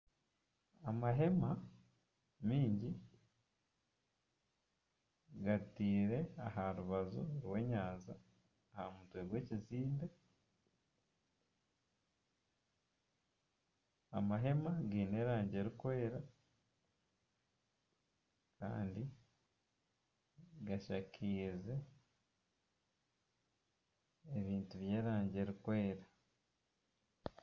Amahema maingi gateirwe aha rubaju rw'enyanja aha mutwe gw'ekizimbe amahema gaine erangi erikwera kandi gashakaize ebintu by'erangi erikwera.